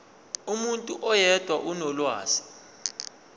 umuntu oyedwa onolwazi